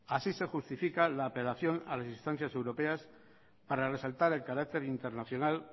así se justifica la apelación a las instancias europeas para resaltar el carácter internacional